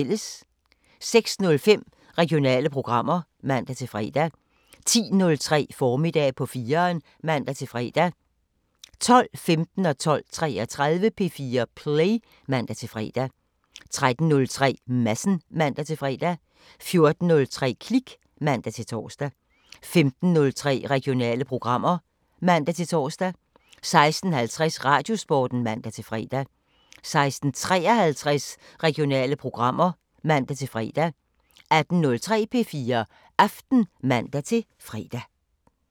06:05: Regionale programmer (man-fre) 10:03: Formiddag på 4'eren (man-fre) 12:15: P4 Play (man-fre) 12:33: P4 Play (man-fre) 13:03: Madsen (man-fre) 14:03: Klik (man-tor) 15:03: Regionale programmer (man-tor) 16:50: Radiosporten (man-fre) 16:53: Regionale programmer (man-fre) 18:03: P4 Aften (man-fre)